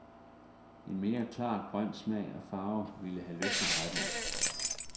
En mere klar grøn smag og farve ville have løftet retten.